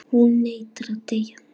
Hún neitar að deyja.